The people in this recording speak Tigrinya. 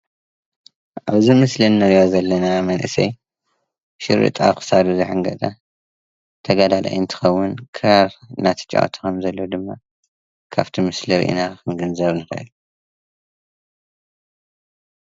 እዚ ምስሊ እንሪኦ ዘለና መንእሰይ ሽሪጥ ኣብ ክሳዱ ዝተሓንገጠ ተጋዳላይ እንትኸውን ክራር እንዳተጫወተ ከም ዘሎ ድማ ካብቲ ምስሊ ሪኢና ክንግንዘብ ንኽእል።